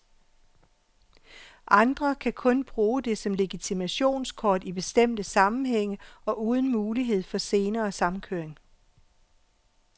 Andre kan kun bruge det som legitimationskort i bestemte sammenhænge og uden mulighed for senere samkøring.